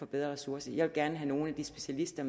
bedre ressourcer jeg vil gerne have nogle af de specialister